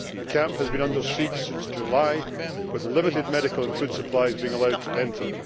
The camp has been under siege since July, with limited medical and food supplies being allowed to enter.